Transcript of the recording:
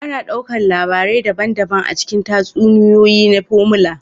Ana ɗaukar labarai daban-daban a cikin tatsuniyoyi na Formula